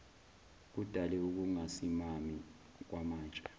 kudale ukungasimami kwamatshe